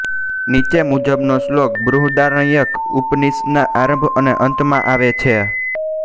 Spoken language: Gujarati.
નીચે મુજબનો શ્લોક બૃહદારણ્યક ઉપનિષદના આરંભ અને અંતમાં આવે છે